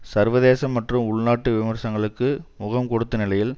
சர்வதேச மற்றும் உள் நாட்டு விமர்சனங்களுக்கு முகம் கொடுத்த நிலையில்